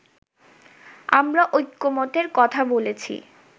আমরা ঐকমত্যের কথা বলেছি